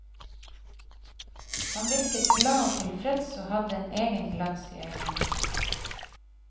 Han virket glad og tilfreds, og hadde en egen glans i øynene.